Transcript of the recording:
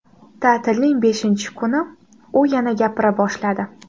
Ta’tilning beshinchi kuni u yana gapira boshladi.